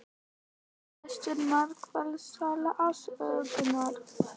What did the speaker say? Besta markvarsla sögunnar?